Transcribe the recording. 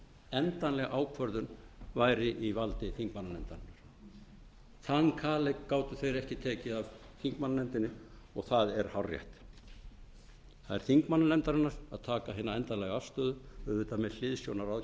endanleg ákvörðun væri í valdi þingmannanefndarinnar þann kaleik gátu þeir ekki tekið af þingmannanefndinni og það er hárrétt það er þingmannanefndarinnar að taka hina endanlegu afstöðu auðvitað með hliðsjón af ráðgjöfinni